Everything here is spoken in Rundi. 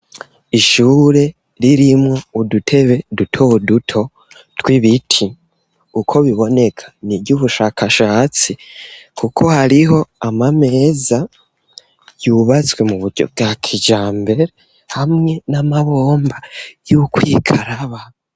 Ishure ririmwo udutebe dutoduto tw'ibiti, uko biboneka n'iryubushakashatsi, kuko hariho amameza yubatswe muburyo bwa kijambere hamwe n'amabomba yukwikaraba.